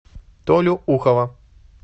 толю ухова